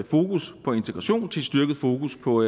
fokus på integration til et styrket fokus på